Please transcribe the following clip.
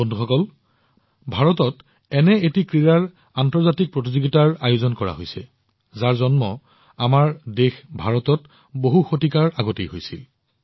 বন্ধুসকল ভাৰতত এখন খেলৰ আন্তৰ্জাতিক প্ৰতিযোগিতা অনুষ্ঠিত হবলৈ গৈ আছে যিটো আমাৰ নিজৰ দেশত ভাৰতত শতিকা পূৰ্বে জন্ম হৈছিল